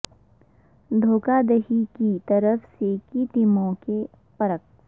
دھوکہ دہی کی طرف سے کی ٹیموں کے برعکس